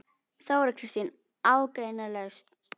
Þóra Kristín: Ágreiningslaust?